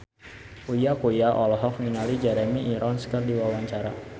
Uya Kuya olohok ningali Jeremy Irons keur diwawancara